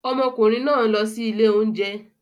Ọmọkùnrin náà ń lọ sí ilé oúnjẹ